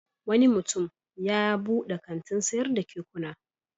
Wani mutum ya buɗe kantin sayar da kekuna.